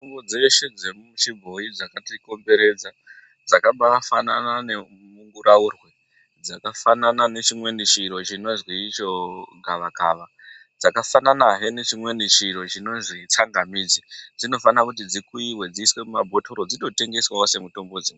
Mutombo dzeshe dzechiboyi dzakatikomberedza dzakabafana nemunguraurwe dzakabafana nechimweni chiro chinozi icho gavakava dzakabafana nechimweni chinozi tsangamidzi ndinofa kuti dzikuiwe dzibekwe muma bhotoro dzitotengeswawo semitombo dzi.